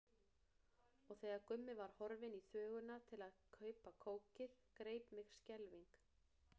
Og þegar Gummi var horfinn í þvöguna til að kaupa kókið greip mig skelfing.